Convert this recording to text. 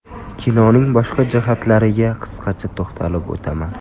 Kinoning boshqa jihatlariga qisqacha to‘xtalib o‘taman.